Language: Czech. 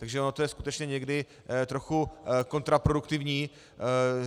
Takže ono je to skutečně někdy trochu kontraproduktivní.